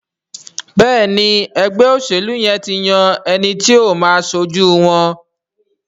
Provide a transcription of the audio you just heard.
Béèni ègbé òṣèlú yén tí yàn ti ẹní tí o má aṣojú wón.